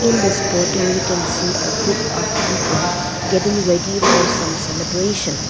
in this poto we can see a group of people getting ready for some celebration.